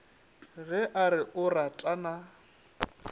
ge a re o ratana